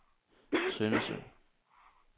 Søndersø